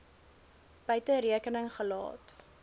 buite rekening gelaat